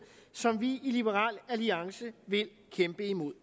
som vi i liberal alliance vil kæmpe imod